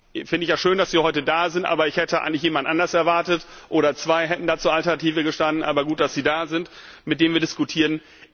Ich finde es ja schön, dass Sie heute da sind, aber ich hätte eigentlich jemand anderen erwartet oder zwei hätten da zur Alternative gestanden, aber gut, dass Sie da sind mit dem wir diskutieren.